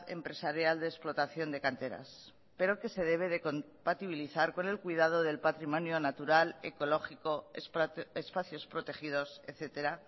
empresarial de explotación de canteras pero que se debe de compatibilizar con el cuidado del patrimonio natural ecológico espacios protegidos etcétera